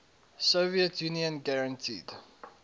soviet union guaranteed